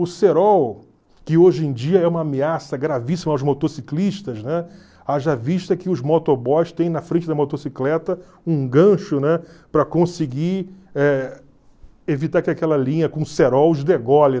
O cerol, que hoje em dia é uma ameaça gravíssima aos motociclistas, né, haja vista que os motoboys têm na frente da motocicleta um gancho, né, para conseguir eh evitar que aquela linha com cerol os degole.